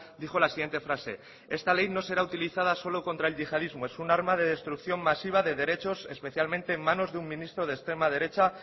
dijo la siguiente frase esta ley no será utilizada solo contra el yihadismo es un arma de destrucción masiva de derechos especialmente en manos de un ministro de extrema derecha